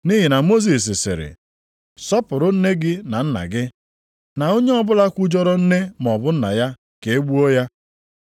Nʼihi na Mosis sịrị, ‘Sọpụrụ nne gị na nna gị,’ + 7:10 \+xt Ọpụ 20:12; Dit 5:16\+xt* na, ‘onye ọbụla kwujọrọ nne maọbụ nna ya ka e gbuo ya.’ + 7:10 \+xt Ọpụ 21:17; Lev 20:9\+xt*